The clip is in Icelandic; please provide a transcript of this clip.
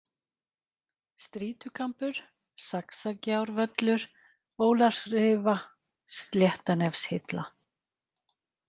Strýtukambur, Saxagjárvöllur, Ólafsrifa, Sléttanefshilla